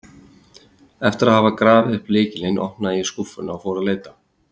Eftir að hafa grafið upp lykilinn opnaði ég skúffuna og fór að leita.